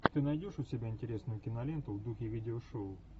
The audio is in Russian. ты найдешь у себя интересную киноленту в духе видеошоу